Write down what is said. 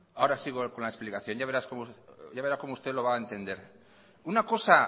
ahora sigo con la explicación ya verá usted lo va a entender una cosa